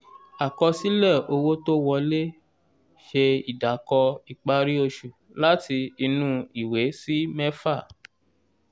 àkọsílẹ̀ owó tó wolẹ́ ṣe ìdàkọ ìparí oṣù láti inú ìwé sí mẹ́fà.